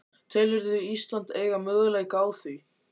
Telurðu Ísland eiga möguleika á því?